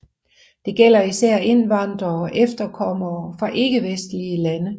Det gælder især indvandrere og efterkommere fra ikkevestlige lande